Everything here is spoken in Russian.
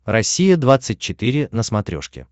россия двадцать четыре на смотрешке